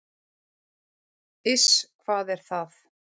"""Iss, hvað er það?"""